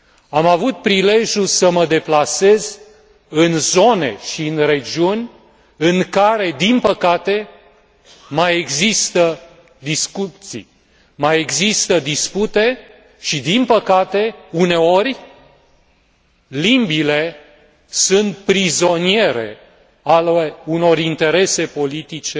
Am avut prilejul să mă deplasez în zone și în regiuni în care, din păcate, mai există discuții, mai există dispute și, din păcate, uneori limbile sunt prizoniere ale unor interese politice